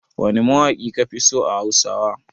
Wane mawaƙi kafi so a Hausawa?